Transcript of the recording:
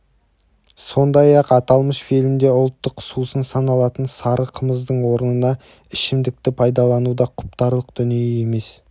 сондай-ақ аталмыш фильмде ұлттық сусын саналатын сары қымыздың орнына ішімдікті пайдалану да құптарлық дүние емес